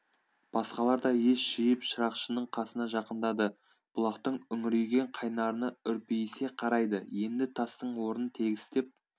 басқалар да ес жиып шырақшының қасына жақындады бұлақтың үңірейген қайнарына үрпейісе қарайды енді тастың орнын тегістеп